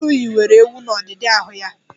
Atụru yiwere ewu n'ọdidi ahụ ya.